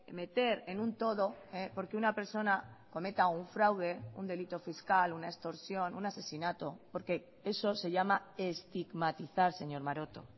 meter en un todo porque una persona cometa un fraude un delito fiscal una extorsión un asesinato porque eso se llama estigmatizar señor maroto